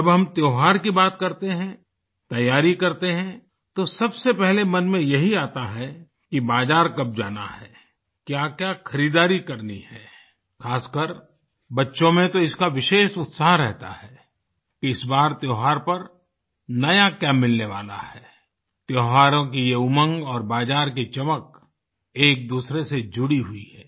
जब हम त्योहार की बात करते हैं तैयारी करते हैं तो सबसे पहले मन में यही आता है कि बाजार कब जाना है क्याक्या खरीदारी करनी है ख़ासकर बच्चों में तो इसका विशेष उत्साह रहता है इस बार त्योहार पर नया क्या मिलने वाला है त्योहारों की ये उमंग और बाजार की चमक एकदूसरे से जुड़ी हुई है